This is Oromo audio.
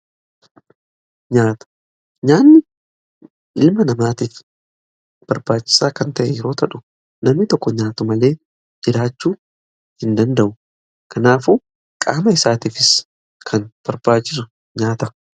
nyaanni ilma namaatiif barbaachisaa kan ta'e yeroo ta'u namni tokko nyaatu malee jiraachuu hin danda'u. Kanaafuu qaama isaatiif kan barbaachisuudha.